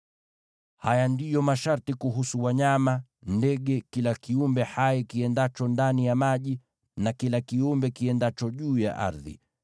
“ ‘Haya ndiyo masharti kuhusu wanyama, ndege, kila kiumbe hai kiendacho ndani ya maji, na kila kiumbe kiendacho juu ya ardhi.